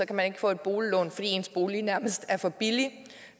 kan man ikke få et boliglån fordi ens bolig nærmest er for billig